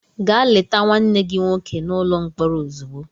Gaa leta nwanne gị nwoke n'ụlọ mkpọrọ ozugbo!